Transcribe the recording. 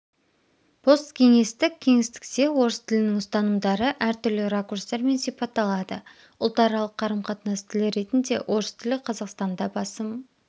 посткеңестік кеңістікте орыс тілінің ұстанымдары әртүрлі ракурстармен сипатталады ұлтаралық қарым-қатынас тілі ретінде орыс тілі қазақстанда басым